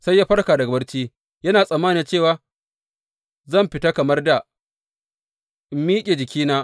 Sai ya farka daga barci yana tsammani cewa, Zan fita kamar dā in miƙe jikina.